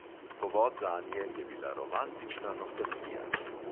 Povod zanje je bila romantična nostalgija.